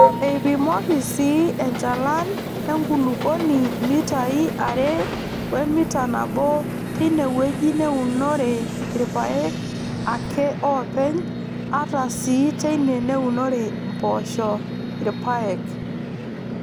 Eipimoki sii enchalan enkulupuoni mitaai are we mita nabo teinewueji neunore irpaek ake oopeny ata sii teine neunore mpoosho irpaek.